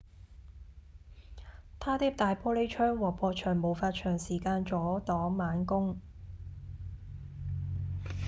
它的大玻璃窗和薄牆無法長時間阻擋猛攻